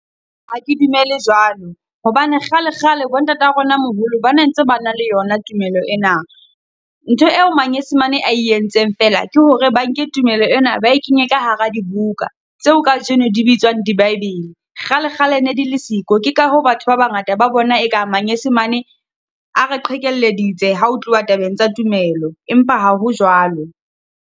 Ha ke dumele jwalo hobane kgale kgale bo ntata rona moholo ba ne ntse ba na le yona tumelo ena. Ntho eo manyesemane a e entseng fela, ke hore ba nke tumelo ena ba e kenye ka hara di buka, tseo kajeno di bitswang di Bible. Kgalekgale ne di le siko, ke ka hoo batho ba bangata ba bona e ka manyesemane a re qhekelleditse ha ho tluwa tabeng tsa tumelo, empa ha ho jwalo.